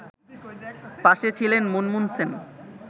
পাশে ছিলেন মুনমুন সেন